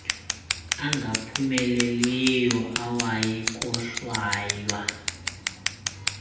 angaphumeleliyo awayi kohlwaywa